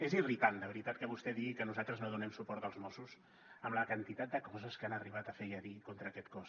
és irritant de veritat que vostè digui que nosaltres no donem suport als mossos amb la quantitat de coses que han arribat a fer i a dir contra aquest cos